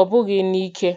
ọ bụghị n’ike.